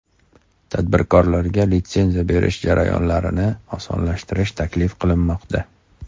Tadbirkorlarga litsenziya berish jarayonlarini osonlashtirish taklif qilinmoqda.